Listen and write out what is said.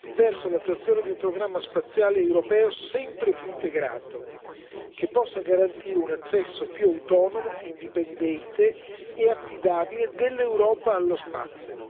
verso l'attuazione di un programma spaziale europeo sempre più integrato, che possa garantire un accesso più autonomo, indipendente e affidabile dell'Europa allo spazio.